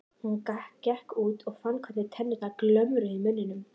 Hann gekk út og fann hvernig tennurnar glömruðu í munninum.